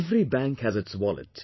Every bank has its wallet